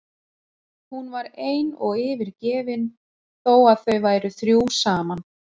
Hún var ein og yfirgefin þó að þau væru þrjú saman.